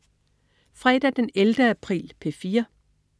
Fredag den 11. april - P4: